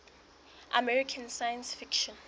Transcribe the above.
american science fiction